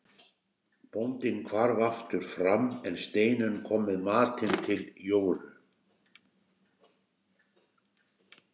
Bóndinn hvarf aftur fram en Steinunn kom með matinn til Jóru.